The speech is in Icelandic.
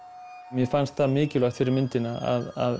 mér fannst mikilvægt fyrir myndina að